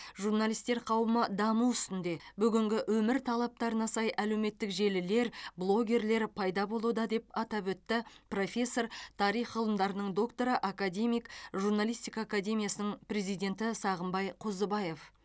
журналистер қауымы даму үстінде бүгінгі өмір талаптарына сай әлеуметтік желілер блогерлер пайда болуда деп атап өтті профессор тарих ғылымдарының докторы академик журналистика академиясының президенті сағымбай қозыбаев